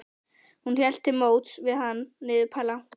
Hún hélt til móts við hann niður plankana.